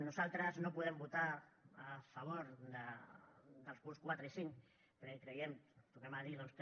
nosaltres no podem votar a favor dels punts quatre i cinc perquè creiem tornem ho a dir doncs que